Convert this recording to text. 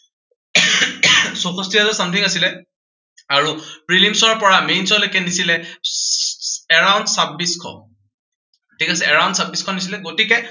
চৌষষ্ঠি হাজাৰ something আছিলে আৰু prelims ৰ পৰা mains লে কে নিছিলে around চাব্বিশ শ ঠিক আছে around চাব্বিশ শ নিছিলে, গতিকে